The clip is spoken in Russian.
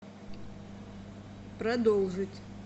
продолжить